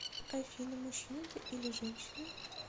афина мужчина ты или женщина